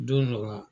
Don dɔ la